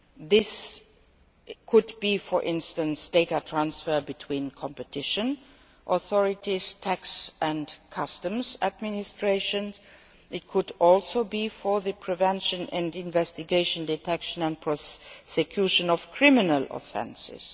This could involve, for instance, data transfer between competition authorities, tax and customs administrations, and it could also be for the prevention and investigation, detection and prosecution of criminal offences.